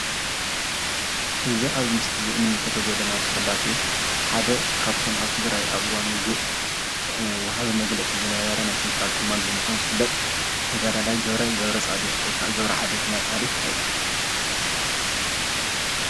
እዚ ኣብዚ ምስሊ ንምልከቶ ዘለና ተፈላጢ ሓደ ካብቶም ኣብ ትግራይ ኣብ እዋን ዉግእ ወሃቢ መግለፂ ዝነበረ ናይ ሰንትራል ኩማንድ ብምኳን ዝፍለጥ ተጋዳይ ገብረ ገብርፃድቅ ወይ ከዓ ገብረ ዓዴት እናተብሃለ ዝፍለጥ።